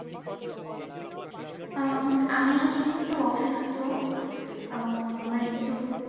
আমি আসলে একটু অসুস্থ আহ আমার একটু